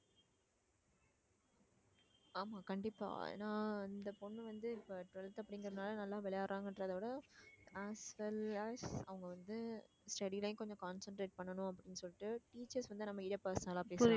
ஆமா கண்டிப்பா ஏன்னா இந்த பொண்ணு வந்து இப்ப twelfth அப்படிங்கிறதுனால நல்லா விளையாடுறாங்கன்றதை விட as well as அவங்க வந்து study லைம் கொஞ்சம் concentrate பண்ணணு அப்பிடின்னு சொல்லிட்டு teachers வந்து நம்ம personal பேசி